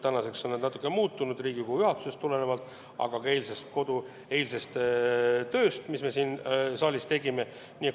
Tänaseks on need natuke muutunud – nii Riigikogu juhatusest tulenevalt kui ka eilsest tööst, mis me siin saalis tegime.